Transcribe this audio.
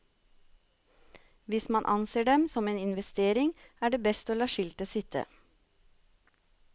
Hvis man anser dem som en investering, er det best å la skiltet sitte.